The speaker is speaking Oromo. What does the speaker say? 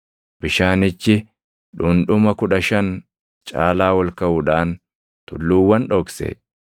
Bishaanichi dhundhuma kudha shan caalaa ol kaʼuudhaan tulluuwwan dhokse.